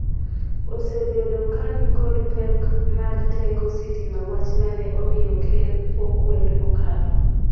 osebedo ka nikod pek mar teko sitima wach mane omiyo ker okwed mokalo